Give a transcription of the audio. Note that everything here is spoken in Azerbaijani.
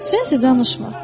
Sənsə danışma.